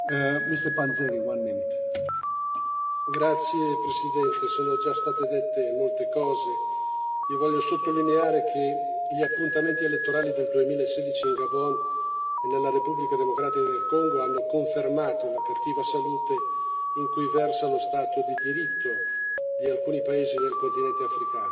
Signor Presidente, onorevoli colleghi, sono già state dette molte cose, ma io voglio sottolineare che gli appuntamenti elettorali del 2016 in Gabon e nella Repubblica democratica del Congo hanno confermato la cattiva salute in cui versa lo Stato di diritto di alcuni paesi nel continente africano.